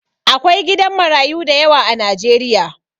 Akwai gidan marayu dayawa a Najeriya